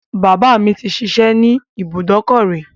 Bàbá mi ti ṣiṣẹ́ ní ibùdòkọ́ rí.